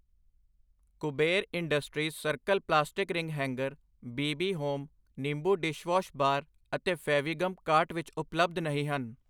Kuber industries circle plastic ring hanger, B B home, Nimbu dishwash bar ਅਤੇ Fevigum cart ਵਿੱਚ ਉਪਲੱਬਧ ਨਹੀਂ ਹਨ I